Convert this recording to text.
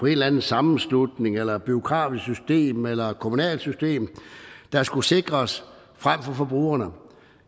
eller anden sammenslutning eller bureaukratiske systemer eller kommunale systemer der skulle sikres frem for forbrugerne